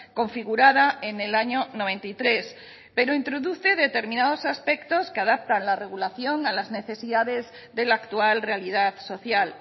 configurada en el año noventa y tres pero introduce determinados aspectos que adaptan la regulación a las necesidades de la actual realidad social